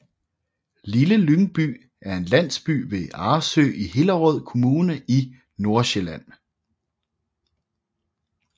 Lille Lyngby er en landsby ved Arresø i Hillerød Kommune i Nordsjælland